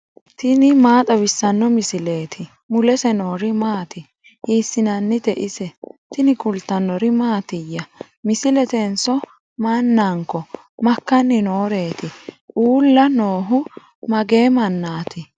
tini maa xawissanno misileeti ? mulese noori maati ? hiissinannite ise ? tini kultannori mattiya? Misilettenso mananko? Makkanni nooreetti? Uulla noohu mage mannaatti?